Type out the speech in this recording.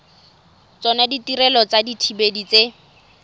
tsona ditirelo tsa dithibedi tse